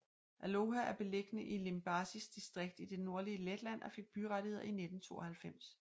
Aloja er beliggende i Limbažis distrikt i det nordlige Letland og fik byrettigheder i 1992